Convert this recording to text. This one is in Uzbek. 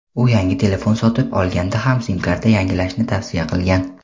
u yangi telefon sotib olganda ham sim-karta yangilashni tavsiya qilgan.